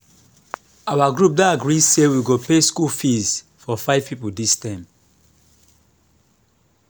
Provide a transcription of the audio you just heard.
our group don agree say we go pay school fees for five people dis term